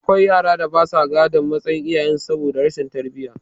Akwai yaran da basa gadon matsayin iyayen su saboda rashin tarbiyya